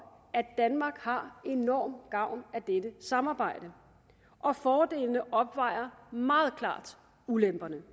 at danmark har enorm gavn af dette samarbejde og fordelene opvejer meget klart ulemperne